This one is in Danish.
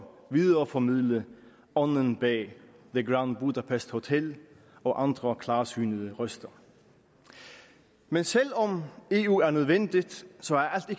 videreformidle ånden bag the grand budapest hotel og andre klarsynede røster men selv om eu er nødvendigt